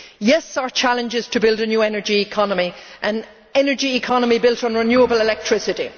Yes, our challenge is to build a new energy economy an energy economy built on renewable electricity.